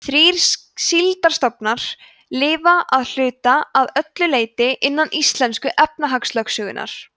þrír síldarstofnar lifa að hluta eða öllu leyti innan íslensku efnahagslögsögunnar